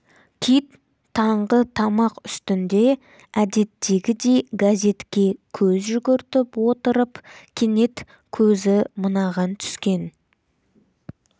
кит таңғы тамақ үстінде әдеттегідей газетке көз жүгіртіп отырып кенет көзі мынаған түскен